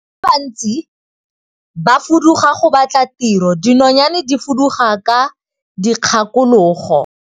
Batho ba bantsi ba fuduga go batla tiro, dinonyane di fuduga ka dikgakologo.